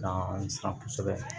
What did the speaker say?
An san kosɛbɛ